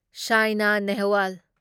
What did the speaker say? ꯁꯥꯢꯅ ꯅꯦꯍꯋꯥꯜ